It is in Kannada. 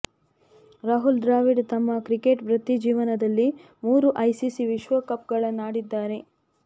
ರಾಹುಲ್ ದ್ರಾವಿಡ್ ತಮ್ಮ ಕ್ರಿಕೆಟ್ ವೃತ್ತಿ ಜೀವನದಲ್ಲಿ ಮೂರು ಐಸಿಸಿ ವಿಶ್ವಕಪ್ಗಳನ್ನು ಆಡಿದ್ದಾರೆ